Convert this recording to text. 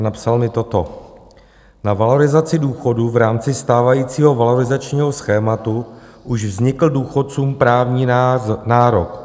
A napsal mi toto: Na valorizaci důchodů v rámci stávajícího valorizačního schématu už vznikl důchodcům právní nárok.